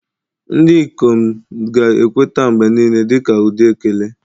Ndị ikom ga-ekweta mgbe niile dị ka ụdị ekele.